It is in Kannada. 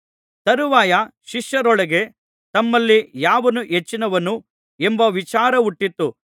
ತರುವಾಯ ಶಿಷ್ಯರೊಳಗೆ ತಮ್ಮಲ್ಲಿ ಯಾವನು ಹೆಚ್ಚಿನವನು ಎಂಬ ವಿಚಾರಹುಟ್ಟಿತು